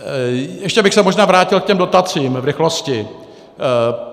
Ještě bych se možná vrátil k těm dotacím v rychlosti.